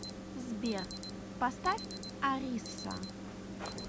сбер поставь ариса